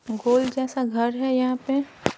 गोल जैसा घर है यहां पे--